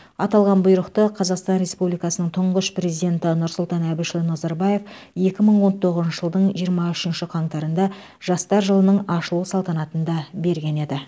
аталған бұйрықты қазақстан республикасының тұңғыш прездиенті нұрсұлтан әбішұлы назарбаев екі мың он тоғызыншы жылдың жиырма үшінші қаңтарында жастар жылының ашылу салтанатында берген еді